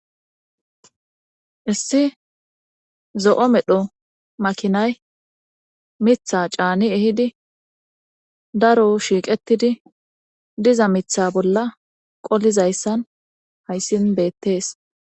issi zo7o medho makinay mitha caani ehidi daro shiiqetidi diza mitha bolla qolizayssan hayssin beettees